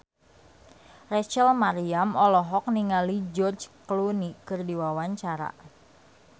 Rachel Maryam olohok ningali George Clooney keur diwawancara